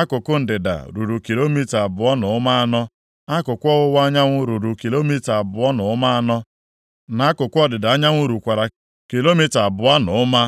akụkụ ndịda ruru kilomita abụọ na ụma anọ, akụkụ ọwụwa anyanwụ ruru kilomita abụọ na ụma anọ, na akụkụ ọdịda anyanwụ rukwara kilomita abụọ na ụma.